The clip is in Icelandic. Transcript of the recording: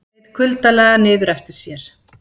Leit kuldalega niður eftir sér.